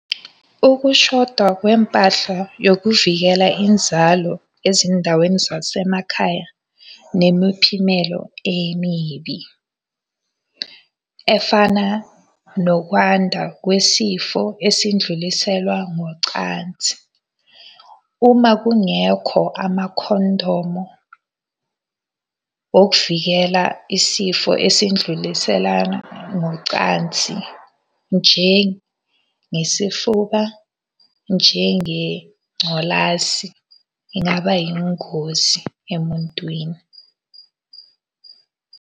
Ukushoda kwempahla yokuvikela inzalo ezindaweni zasemakhaya nemiphimelo emibi. Efana nokwanda kwesifo esindluliselwa ngocansi. Uma kungekho amakhondomo wokuvikela isifo esindluliselana ngocansi njengesifuba, njengengculazi, ingaba yingozi emuntwini.